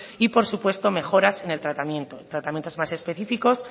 y por supuestos mejoras en el tratamiento tratamientos más específicos